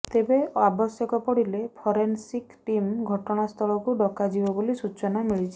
ତେବେ ଆବଶ୍ୟକ ପଡିଲେ ଫରେନସିକ୍ ଟିମ୍ ଘଟଣାସ୍ଥଳକୁ ଡକାଯିବ ବୋଲି ସୂଚନା ମିଳିଛି